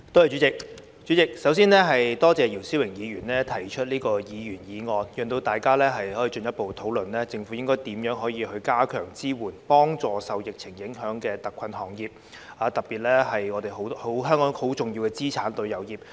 主席，我首先感謝姚思榮議員提出這項議員議案，讓大家可以進一步討論政府應該如何加強支援，以協助受疫情影響的特困行業，特別是香港很重要的資產旅遊業。